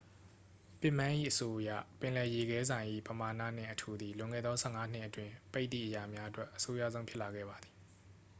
ပစ်မန်း၏အဆိုအရ ပင်လယ်ရေခဲစိုင်၏ ပမာဏနှင့်အထူသည် လွန်ခဲ့သော 15 နှစ်အတွင်း ပိတ်သည့်အရာများအတွက် အဆိုးရွားဆုံးဖြစ်လာခဲ့ပါသည်